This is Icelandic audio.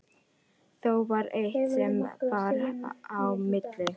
Þó var eitt sem bar á milli.